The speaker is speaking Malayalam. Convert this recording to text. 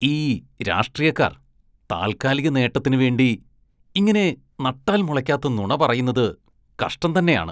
ഈ രാഷ്ട്രീയക്കാര്‍ താല്‍കാലികനേട്ടത്തിന് വേണ്ടി ഇങ്ങനെ നട്ടാല്‍ മുളയ്ക്കാത്ത നുണ പറയുന്നത് കഷ്ടം തന്നെയാണ്.